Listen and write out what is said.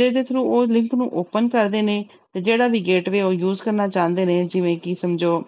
ਜਿਹਦੇ through ਉਹ link ਨੂੰ open ਕਰਦੇ ਨੇ, ਤੇ ਜਿਹੜਾ ਵੀ gateway ਉਹ use ਕਰਨਾ ਚਾਹੁੰਦੇ ਨੇ ਜਿਵੇਂ ਕਿ ਸਮਝੋ